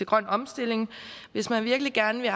grøn omstilling hvis man virkelig gerne ville